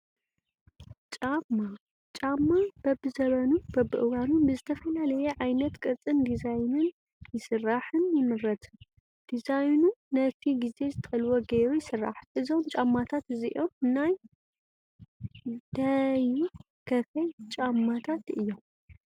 ጫማ፡- ጫማ በብዘበኑን በብእዋኑን ብዝተፈላለየ ዓይነት ቅርፅን ዲዛይንን ይስራሕን ይምረትን፡፡ ዲዛይኑ ነቲ ጊዜ ዝጠልቦ ገይሩ ይስራሕ፡፡ እዞም ጫማታት እዚኦም ናይ ደ/ዮ ከፈይ ጫማታት እዮም፡፡